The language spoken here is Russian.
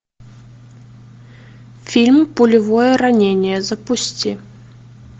фильм пулевое ранение запусти